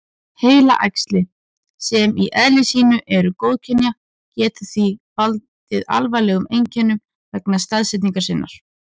Heilaæxli, sem í eðli sínu eru góðkynja, geta því valdið alvarlegum einkennum vegna staðsetningar sinnar.